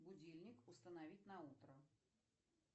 будильник установить на утро